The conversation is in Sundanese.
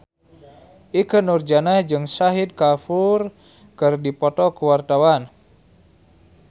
Ikke Nurjanah jeung Shahid Kapoor keur dipoto ku wartawan